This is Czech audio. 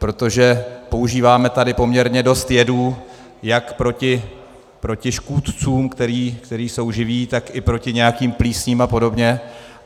Protože používáme tady poměrně dost jedů jak proti škůdcům, kteří jsou živí, tak i proti nějakým plísním a podobně.